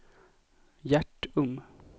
Hjärtum